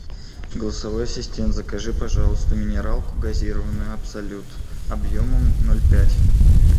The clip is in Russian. голосовой ассистент закажи пожалуйста минералку газированную абсолют объемом ноль пять